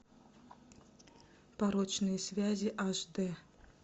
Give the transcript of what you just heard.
порочные связи аш дэ